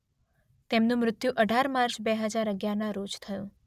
તેમનું મૃત્યુ અઢાર માર્ચ બે હજાર અગિયારનાં રોજ થયું.